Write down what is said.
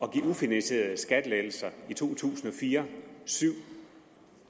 at give ufinansierede skattelettelser i to tusind og fire og syv